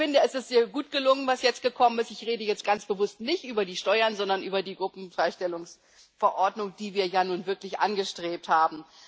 Ich finde, es ist sehr gut gelungen, was jetzt gekommen ist ich rede jetzt ganz bewusst nicht über die Steuern, sondern über die Gruppenfreistellungsverordnung, die wir nun wirklich angestrebt haben.